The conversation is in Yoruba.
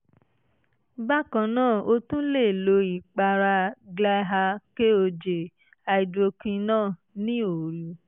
bákan náà o tún lè lo ìpara glyaha koj (hydroquinone) ní òru